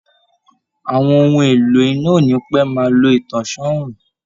Àwọn ohun èlò iná ò ní pẹ́ máa lo ìtànsán oòrùn